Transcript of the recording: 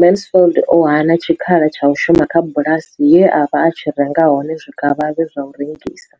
Mansfield o hana tshikhala tsha u shuma kha bulasi ye a vha a tshi renga hone zwikavhavhe zwa u rengisa.